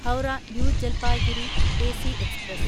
Howrah new Jalpaiguri AC express